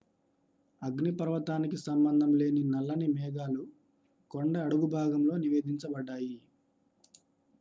అగ్నిపర్వతానికి సంబంధం లేని నల్లని మేఘాలు కొండ అడుగుభాగంలో నివేదించబడ్డాయి